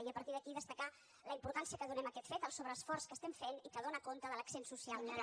i a partir d’aquí destacar la importància que donem a aquest fet el sobreesforç que estem fent i que dóna compte de l’accent social que té